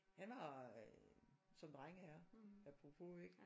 Han var øh som drenge er. Apropos ikke?